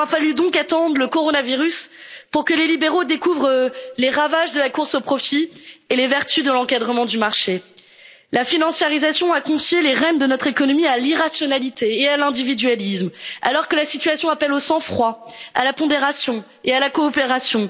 jours. Il aura donc fallu attendre le coronavirus pour que les libéraux découvrent les ravages de la course au profit et les vertus de l'encadrement du marché. La financiarisation a confié les rênes de notre économie à l'irrationalité et à l'individualisme, alors que la situation appelle au sang froid, à la pondération et à la coopération.